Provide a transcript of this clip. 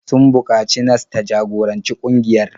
Sun buƙaci nas ta jagoranci ƙungiyar.